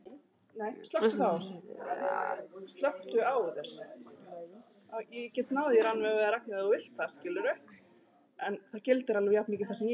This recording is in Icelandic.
Flyksur eru algengastar hérlendis, snjóhagl er algengt, kornsnjór nokkuð algengur, ískorn sjaldséð og íshagl sárasjaldgæft.